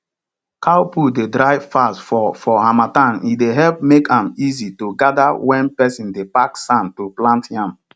cow poo dey dry fast for for harmattan e dey help make am easy to gather when person dey pack sand to plant yam